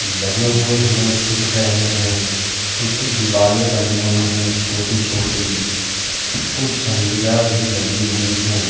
लगे हुए हमें दिख रहे हैं। कुछ दीवाले बनी हुई हैं छोटी-छोटी। कुछ झंडियां भी लगी हुई हैं।